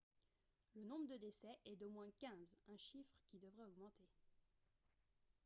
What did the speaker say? le nombre de décès est d'au moins 15 un chiffre qui devrait augmenter